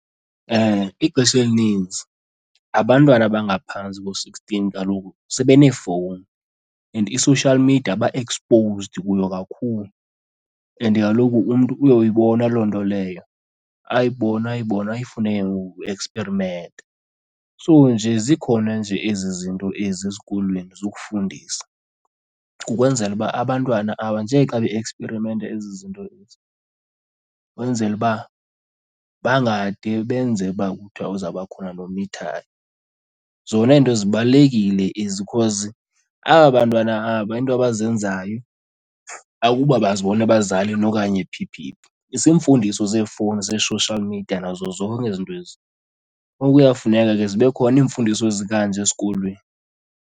Ixesha elininzi abantwana abangaphantsi ko-sixteen kaloku sebeneefowuni and i-social media ba-exposed kuyo kakhulu. And kaloku umntu uyoyibona loo nto leyo, ayibone ayibone ayifune ke ngoku ukueksperimenta. So nje zikhona nje ezi zinto ezi esikolweni zokufundisa kukwenzela uba abantwana aba nje xa be-eksperimenta ezi zinto ezi, kwenzele uba bangade benze uba kuthiwa uzawuba khona nomithayo. Zona ezinto zibalulekile ezi cause aba bantwana aba into abazenzayo akuba bazibona ebazalini okanye phi phi phi, ziimfundiso zefowuni zee-social media nazo zonke ezi zinto ezi. Ngoku kuyafuneka ke zibe khona iimfundiso ezikanje esikolweni.